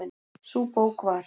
Sú bók var